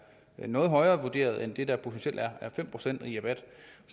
noget højere vurderet end det der potentielt er fem procent i rabat